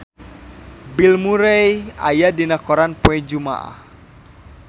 Bill Murray aya dina koran poe Jumaah